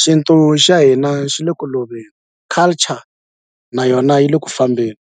xintu xa hina xi le ku loveni culture na yona yi le ku fambeni.